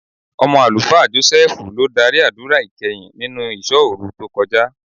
Ọmọ Àlùfáà Jọ́sẹ́ẹ́fù ló dárí àdúrà ìkẹyìn nínú ìṣọ́òru tó kọjá.